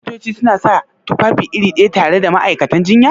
Shin Likitoci suna sa tufafi iri ɗaya tare da ma'aikatan jinya?